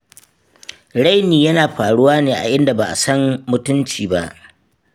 Raini yana faruwa ne a inda ba a san mutunci ba.